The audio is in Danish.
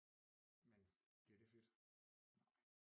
Men bliver det fedt